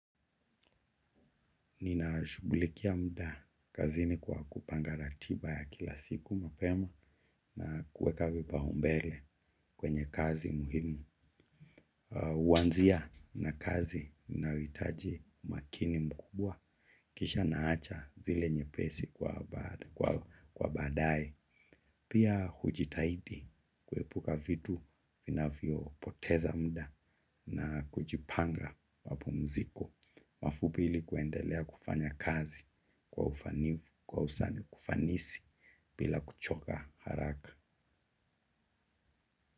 Ninashughulikia muda kazini kwa kupanga ratiba ya kila siku mapema na kuweka vipaumbele kwenye kazi muhimu. Kuanzia na kazi inayohitaji umakini mkubwa kisha naacha zile nyepesi kwa baadaye. Pia hujitahidi kuepuka vitu vinavyopoteza muda na kujipanga mapumziko. Alafu pili kuendelea kufanya kazi kwa ufanivu kwa usani kwa ufanisi bila kuchoka haraka.